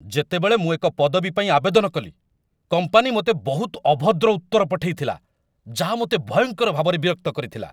ଯେତେବେଳେ ମୁଁ ଏକ ପଦବୀ ପାଇଁ ଆବେଦନ କଲି, କମ୍ପାନୀ ମୋତେ ବହୁତ ଅଭଦ୍ର ଉତ୍ତର ପଠେଇଥିଲା ଯାହା ମୋତେ ଭୟଙ୍କର ଭାବରେ ବିରକ୍ତ କରିଥିଲା।